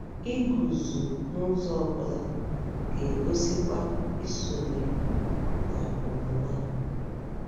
Iguzo n'ụzọ ọ bụla ga-egosikwa isonye na emume a.